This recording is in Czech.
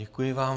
Děkuji vám.